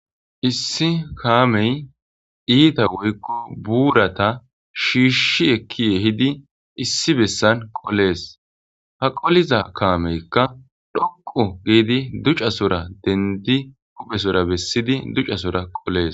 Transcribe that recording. issi kaamey iita woykko buurata shiishi ekki yehidi issi bessan qolees ha qoliza kaameykka dhoqu giidi ducasora dendi huphesora bessidi ducasora qolees